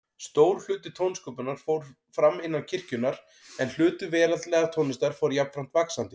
Stór hluti tónsköpunar fór fram innan kirkjunnar, en hlutur veraldlegrar tónlistar fór jafnframt vaxandi.